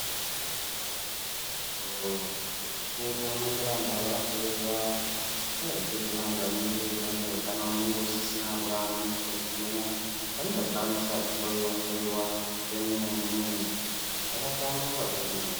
Aiwa antu echikuru vanongoramba vakahloiwa ngendaa yekuti vantu vanenge vane utano hunge husisina kuva kunyasa kugwinya vanenge vachida kunyasa kuhloiwa hloiwa kwemene zvakahlamburuka kwemene.